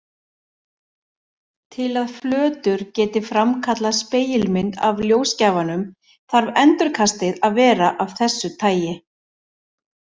Til að flötur geti framkallað spegilmynd af ljósgjafanum þarf endurkastið að vera af þessu tagi.